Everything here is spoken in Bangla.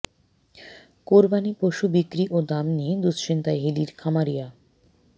কোরবানি পশু বিক্রি ও দাম নিয়ে দুঃশ্চিন্তায় হিলির খামারিয়া